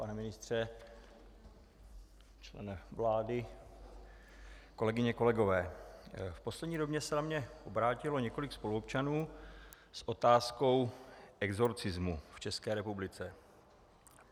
Pane ministře, člene vlády, kolegyně, kolegové, v poslední době se na mě obrátilo několik spoluobčanů s otázkou exorcismu v České republice.